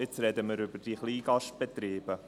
Jetzt sprechen wir über die Kleingastbestriebe: